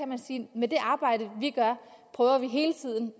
man sige at med det arbejde vi gør prøver vi hele tiden